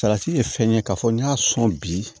Salati ye fɛn ye k'a fɔ n'i y'a sɔn bi